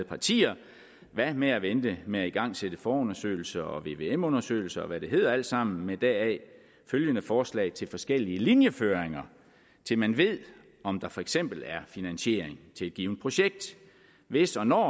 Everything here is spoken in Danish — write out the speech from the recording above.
partier hvad med at vente med at igangsætte forundersøgelser og vvm undersøgelser og hvad det hedder alt sammen med deraf følgende forslag til forskellige linjeføringer til man ved om der for eksempel er finansiering til et givet projekt hvis og når